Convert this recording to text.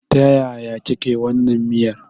Ta yaya kika yi wannan miyar?